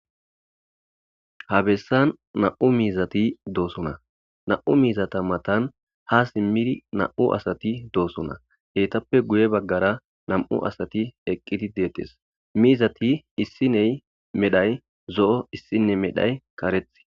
Ha bessan na'u miizati doosona, na'u miizata matan haa simmidi na'u asati doosona. Etappe guye baggara nami'u asati eqqi deetes. Mizati issiney medha zo'o issiney medhay kareththi.